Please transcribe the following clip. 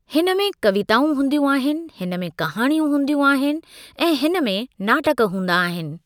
हिन में कविताऊं हूंदियूं आहिनि, हिन में कहाणियूं हूंदियूं आहिनि ऐं हिन में नाटकु हूंदा आहिनि।